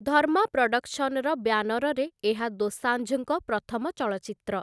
ଧର୍ମା ପ୍ରଡକ୍ସନ୍ସର ବ୍ୟାନରରେ ଏହା ଦୋସାଂଝଙ୍କ ପ୍ରଥମ ଚଳଚ୍ଚିତ୍ର ।